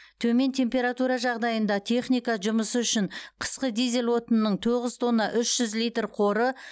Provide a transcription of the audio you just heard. төмен температура жағдайында техника жұмысы үшін қысқы дизель отынының тоғыз тонна үш жүз литр қоры